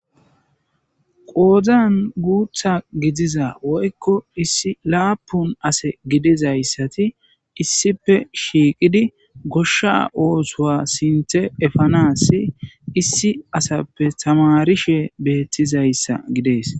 qoozan guutha gidiza woykko issi laapun ase gidizayssati issife shiiqidi goshsha oosowa sinthe efanassi issi asappe tamarishe beettizayssa gidees